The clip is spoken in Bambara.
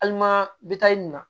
bi taa i nin na